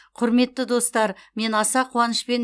құрметті достар мен аса қуанышпен